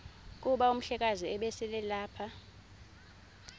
kuba umhlekazi ubeselelapha